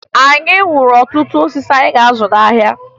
Anyị wuru ọtụtụ mkpụrụosisi anyị ga-azụ n'ahịa